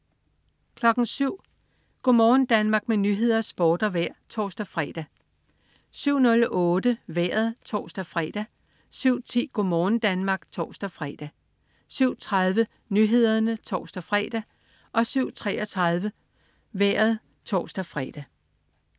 07.00 Go' morgen Danmark med nyheder, sport og vejr (tors-fre) 07.00 Nyhederne (tors-fre) 07.08 Vejret (tors-fre) 07.10 Go' morgen Danmark (tors-fre) 07.30 Nyhederne (tors-fre) 07.33 Vejret (tors-fre)